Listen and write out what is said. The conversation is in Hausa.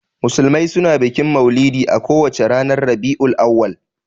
Musulmai suna bikin maulidi a ko wace watan Rabi'ul Auwal.